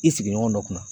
I sigiɲɔgɔn dɔ kunna